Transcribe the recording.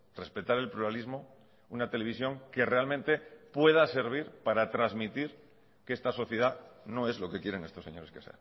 respetar el pluralismo una televisión que realmente pueda servir para transmitir que esta sociedad no es lo que quieren estos señores que